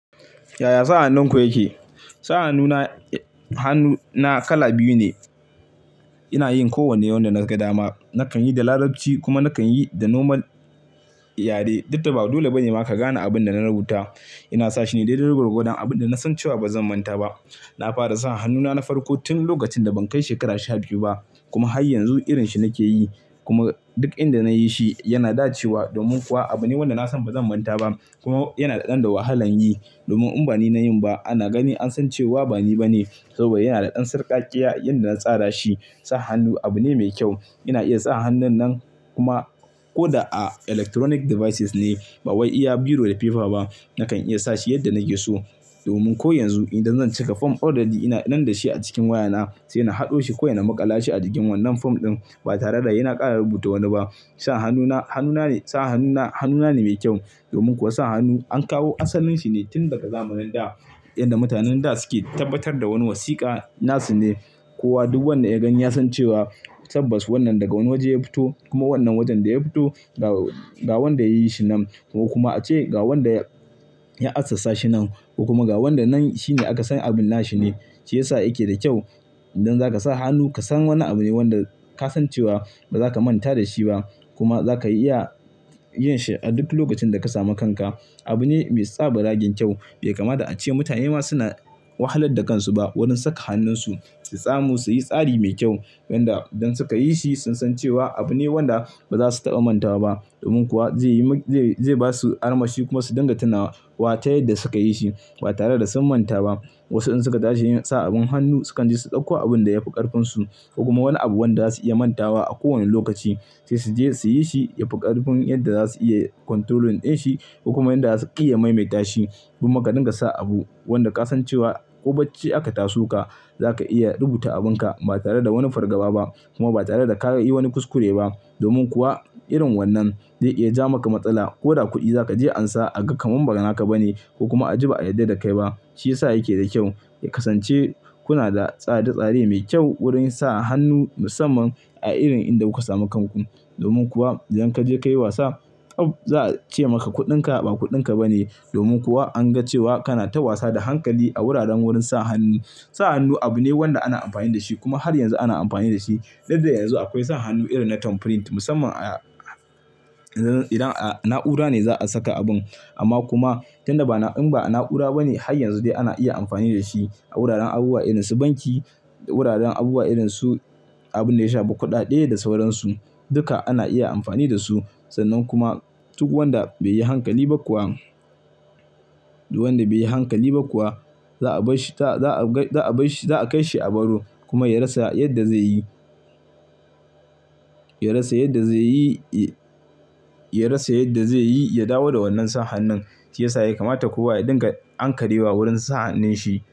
Yaya sa hannun ku yake? Sa hannu na kala biyu ne. Ina yin kowanne wanda na ga dama. Nakan yi da larabci kuma nakan yi da nomal yare. Dukda ba dole bane ma ka gane abin da na rubuta. Ina sa shi ne daidai gwargwadon, abin da na san cewa ba zan manta ba. Na fara sa hannuna na farko tun lokacin da ban kai shekara sha biyu ba kuma har yanzu irin shi nake yi. Kuma duk inda na yi shi yana da cewa domin kuwa abune wanda na san ba zan manta ba kuma yana da ɗan da wahalan yi. Domin in bani na yi ba ana gani an san cewa bani ba ne. Saboda yana da ɗan sarƙaƙƙiya inda na tsara shi. Sa hannu abu ne mai kyau. Ina iya sa hannun nan kuma ko da a electronic devices ne, ba wai iya biro da paper ba, nakan iya sa shi yadda nake so. Domin ko yanzu idan zan cika form already, ina nan da shi a cikin wayana sai ina haɗo shi kawai in maƙalashi a jikin wannan form ɗin ba tare da saina ƙara rubuta wani ba. Sa hannuna, hannuna ne, sa hannuna hannuna ne mai kyau. Domin kuwa sa hannu an kawo asalin shi ne tun daga zamanin da inda mutanen da suke tabbatar da wani wasiƙa na su ne. Ko wa duk wanda ya gan ya san cewa tabbas wannan daga wani waje ya fito kuma wannan wajen da ya fito, ga wanda ya yi shi nan ko kuma ace ga wanda ya assasa shi nan ko kuma ga wanda nan shine aka san abin na shi ne. Shi ya sa yake da kyau. Idan za ka sa hannu ka san wannan abu ne wanda ka san cewa ba za ka manta da shi ba kuma za ka iya yin shi a duk lokacin da ka sami kanka. Abu ne mai tsabaragen kyau. Bai kamata a ce mutane ma suna wahalar da kansu ba wurin saka hannunsu, su samu su yi tsari mai kyau. Yanda idan suka yi shi sun san cewa abu ne wanda ba za su taɓa manta ba domin kuwa zai yi, zai ba su armashi kuma su dinga tunawa wa ta yadda suka yi shi ba tare da sun manta ba. Wasu in suka tashi yin sa abin hannu sukan je su ɗauko abin da ya fi ƙarfinsu ko kuma wani abu wanda za su iya manta wa a kowane lokaci. Sai su je su yi shi, ya fi ƙarfin yadda za su iya controlling ɗin shi ko kuma yanda za su iya maimaita shi. Kuma ka dinga sa abu wanda ka san cewa ko bacci aka taso ka, za ka iya rubuta abin ka ba tare da wani fargaba ba kuma ba tare da ka yi wani kuskure ba. Domin kuwa irin wannan zai iya ja maka matsala ko da kuɗi za ka je ansa a ga kaman ba naka ba ne ko kuma a ji ba a yarda da kai ba. Shi ya sa yake da kyau. Ya kasance kuna da tsare-tsare mai kyau wurin sa hannu musamman a irin inda kuka samu kan ku. Domin kuwa idan ka je ka yi wasa, oh! Za a ce maka kuɗinka ba kuɗinka ba ne. Domin kuwa an ga cewa kana ta wasa da hankali a wuraren wurin sa hannu. Sa hannu abu ne wanda ana amfani da shi kuma har yanzu ana amfani da shi. Dakda yanzu akwai sa hannu irin na thumb print musamman a, idan a na'ura ne za a saka abin. Amma kuma idan ba in ba a na'ura ba ne har yanzu dai ana iya amfani da shi a wuraren abubuwa irin su banki, wuraren abubuwa irin su abin da ya shafi kuɗade sauransu. Duka ana iya amfani da su. Sannan kuma duk wanda bai yi hankali ba kuwa, duk wanda bai yi hankali ba kuwa za a bai shi, za a kai shi a baro kuma ya rasa yadda zai yi. Ya rasa yadda zai yi, ya rasa yadda zai yi, ya dawo da wannan sa hannun. Shi ya sa ya kamata kowa ya dinga ankarewa wurin sa hannun shi.